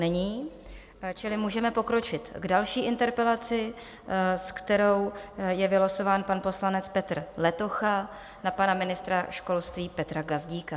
Není, čili můžeme pokročit k další interpelaci, s kterou je vylosován pan poslanec Petr Letocha na pana ministra školství Petra Gazdíka.